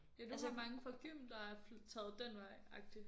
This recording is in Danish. Ja du har mange fra gym der er taget den vej agtig